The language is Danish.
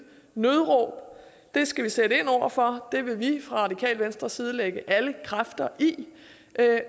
nødråb det skal vi sætte ind over for det vil vi fra det radikale venstres side lægge alle kræfter i i